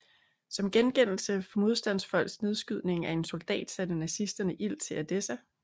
Som gengældelse for modstandsfolks nedskydning af en soldat satte nazisterne ild til Edessa